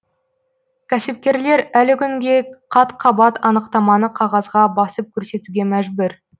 кәсіпкерлер әлі күнге қат қабат анықтаманы қағазға басып көрсетуге мәжбүр